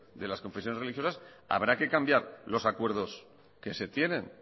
de las confesiones religiosas habrá que cambiar los acuerdos que se tienen